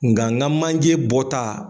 Nka ŋa manje bɔta